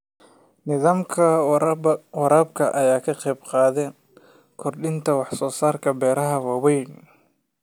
Nidaamka waraabka ayaa ka qaybqaata kordhinta wax-soo-saarka beeraha waaweyn.